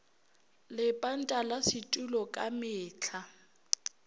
lepanta la setulo ka mehla